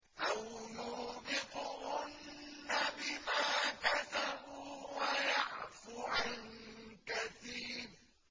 أَوْ يُوبِقْهُنَّ بِمَا كَسَبُوا وَيَعْفُ عَن كَثِيرٍ